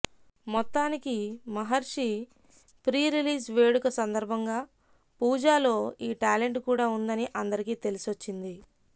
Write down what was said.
మొత్తానికి మహర్షి ప్రీరిలీజ్ వేడుక సందర్భంగా పూజాలో ఈ టాలెంట్ కూడా ఉందని అందరికీ తెలిసొచ్చింది